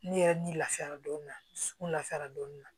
Ne yɛrɛ ni lafiyara don min na n lafiyara doni na